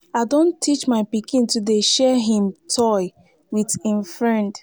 i don teach my pikin to dey share him toy wit im friend.